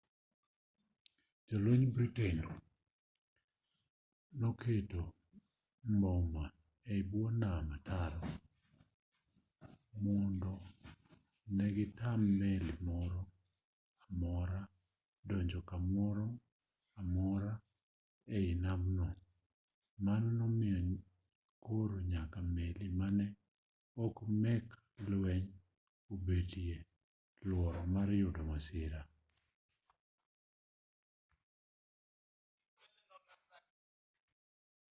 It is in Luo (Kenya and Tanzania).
jolwenj britain noketo mbome e bwo nam ataro mondo ne gitam meli moro amora donjo kamoro amora ei namno mano nomiyo koro nyaka meli mane ok mek lweny obetie luoro mar yudo masira